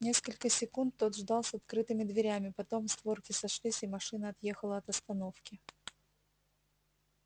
несколько секунд тот ждал с открытыми дверями потом створки сошлись и машина отъехала от остановки